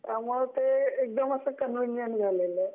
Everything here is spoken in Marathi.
त्यामुळे ते एकदम असं कन्व्हिनियंट झालेलं आहे.